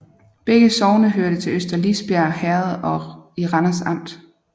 Begge sogne hørte til Øster Lisbjerg Herred i Randers Amt